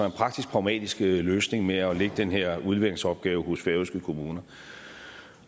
en praktisk pragmatisk løsning med at lægge den her udleveringsopgave hos færøske kommuner